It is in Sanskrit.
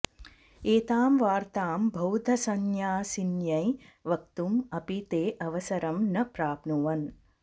एतां वार्तां बौद्धसंन्यासिन्यै वक्तुम् अपि ते अवसरं न प्राप्नुवन्